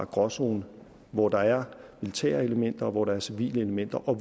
gråzone hvor der er militære elementer og hvor der er civile elementer og